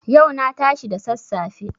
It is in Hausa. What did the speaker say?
Yau na tashi da sassafe.